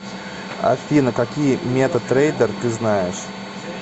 афина какие мета трейдер ты знаешь